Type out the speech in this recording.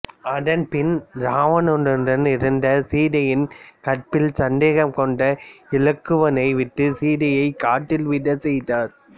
அதன்பின் இராவணனுடன் இருந்த சீதையின் கற்பில் சந்தேகம் கொண்டு இலக்குவனை விட்டு சீதையை காட்டில் விடச் செய்தார்